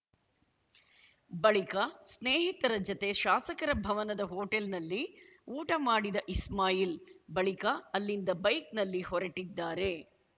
ಬಳಿಕ ಸ್ನೇಹಿತರ ಜತೆ ಶಾಸಕರ ಭವನದ ಹೋಟೆಲ್‌ನಲ್ಲಿ ಊಟ ಮಾಡಿದ ಇಸ್ಮಾಯಿಲ್‌ ಬಳಿಕ ಅಲ್ಲಿಂದ ಬೈಕ್‌ನಲ್ಲಿ ಹೊರಟ್ಟಿದ್ದಾರೆ